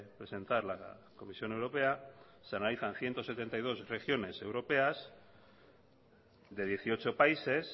presentar la comisión europea se analizan ciento setenta y dos regiones europeas de dieciocho países